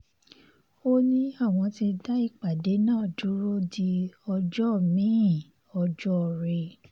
ó ní àwọn ti dá ìpàdé náà dúró di ọjọ́ mi-in ọjọ́ọre